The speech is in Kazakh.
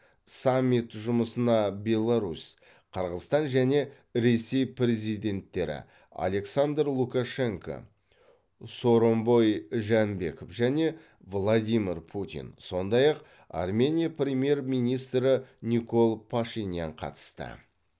саммит жұмысына беларусь қырғызстан және ресей президенттері александр лукашенко сооронбай жээнбеков және владимир путин сондай ақ армения премьер министрі никол пашинян қатысты